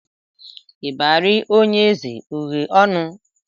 Ịbarị onye eze o ghe ọnụ?